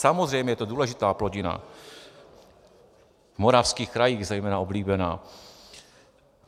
Samozřejmě, je to důležitá plodina, v moravských krajích zejména oblíbená.